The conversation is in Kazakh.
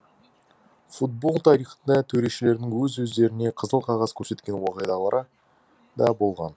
футбол тарихында төрешілердің өз өздеріне қызыл қағаз көрсеткен уақиғалары да болған